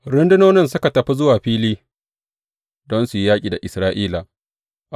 Rundunonin suka tafi zuwa fili don su yi yaƙi da Isra’ila.